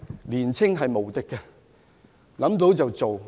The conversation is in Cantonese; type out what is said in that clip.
年輕無敵，想到便做。